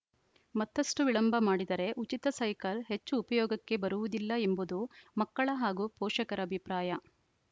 ಮತ್ತಷ್ಟುವಿಳಂಬ ಮಾಡಿದರೆ ಉಚಿತ ಸೈಕಲ್‌ ಹೆಚ್ಚು ಉಪಯೋಗಕ್ಕೆ ಬರುವುದಿಲ್ಲ ಎಂಬುದು ಮಕ್ಕಳ ಹಾಗೂ ಪೋಷಕರ ಅಭಿಪ್ರಾಯ